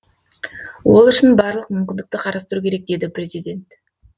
ол үшін барлық мүмкіндікті қарастыру керек деді президент